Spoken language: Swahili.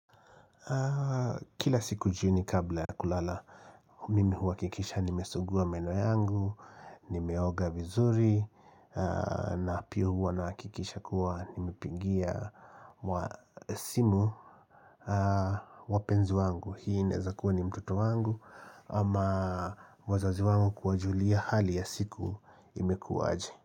Kila siku jini kabla ya kulala mimi huakikisha nimesugua meno yangu nimeoga vizuri na pio huwa nahakikisha kuwa nimepigia simu wapenzi wangu. Hii inaezakuwa ni mtoto wangu ama wazazi wangu kuwajulia hali ya siku imekuwa aje.